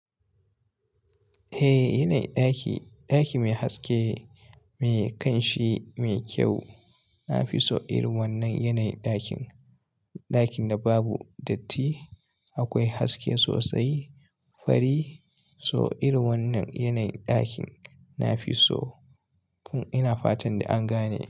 Eh, yanayi ɗaki, ɗaki mai haske, mai ƙanshi, mai kyau. Na fi so irin wannan yanayin ɗakin. Ɗakin da babu datti, akwai haske sosai, fari. So irin wannan yanayin ɗakin na fi so. Kun ina fatan an gane.